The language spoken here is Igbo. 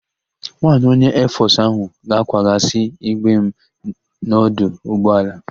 Nwaanyị onye Eefọsụ ahụ ga-akwaghasị igbe m n'ọdụ ụgbọelu.